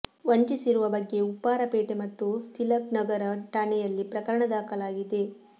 ವಂಚಿಸಿರುವ ಬಗ್ಗೆ ಉಪ್ಪಾರ ಪೇಟೆ ಮತ್ತು ತಿಲಕ್ನಗರ ಠಾಣೆಯಲ್ಲಿ ಪ್ರಕರಣ ದಾಖಲಾಗಿದೆ